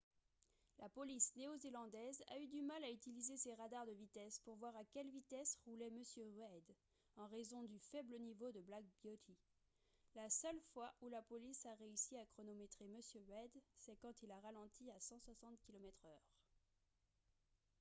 la police néo-zélandaise a eu du mal à utiliser ses radars de vitesse pour voir à quelle vitesse roulait m reid en raison du faible niveau de black beauty la seule fois où la police a réussi à chronométrer m reid c'est quand il a ralenti à 160 km/h